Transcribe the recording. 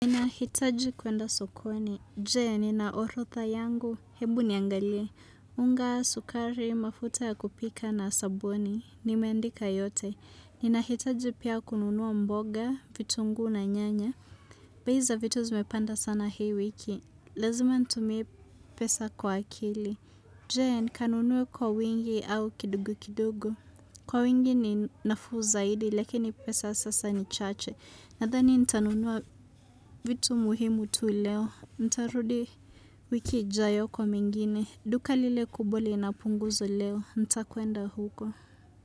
Ninahitaji kwenda sokoni. Je, ninaorotha yangu. Hebu niangalie. Unga sukari, mafuta ya kupika na sabuni. Nimendika yote. Ninahitaji pia kununuwa mboga, vitunguu na nyanya. Bei vitu zimepanda sana hii wiki. Lazima nitumie pesa kwa akili. Je, nikanunuwa kwa wingi au kidogo kidogo. Kwa wingi ni nafuu zaidi, lakini pesa sasa ni chache. Nathani nitanunua vitu muhimu tu leo. Ntarudi wiki ijayo kwa mingine. Duka lile kubwa linapunguzwa leo. Nitakwenda huko.